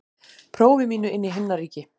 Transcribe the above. prófi mínu inn í himnaríki.